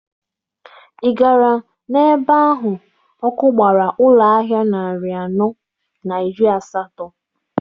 Ị gara n'ebe ahụ ọkụ gbara ụlọ ahịa narị anọ na iri asatọ?